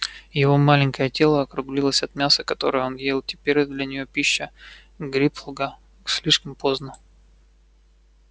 его маленькое тело округлилось от мяса которое он ел теперь а для неё пища ггрипгла слишком поздно